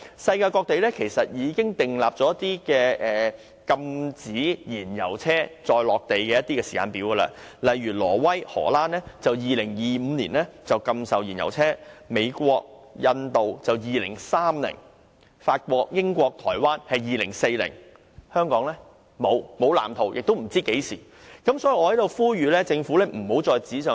世界各地已訂出禁售燃油車的時間表，例如挪威和荷蘭將在2025年禁售燃油車；美國和印度將在2030年禁售，而法國、英國和台灣將在2040年禁售，但香港卻沒有任何藍圖，大家亦不知道將會何時推行。